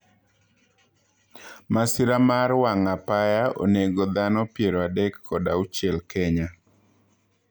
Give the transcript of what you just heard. Masira mar wang' apaya onego dhano piero adek kod auchiel Kenya